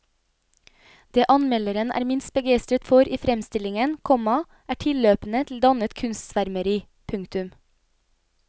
Det anmelderen er minst begeistret for i fremstillingen, komma er tilløpene til dannet kunstsvermeri. punktum